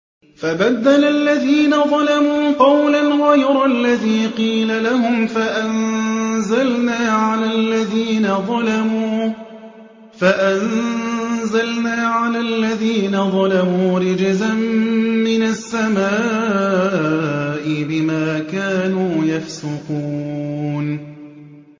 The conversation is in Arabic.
فَبَدَّلَ الَّذِينَ ظَلَمُوا قَوْلًا غَيْرَ الَّذِي قِيلَ لَهُمْ فَأَنزَلْنَا عَلَى الَّذِينَ ظَلَمُوا رِجْزًا مِّنَ السَّمَاءِ بِمَا كَانُوا يَفْسُقُونَ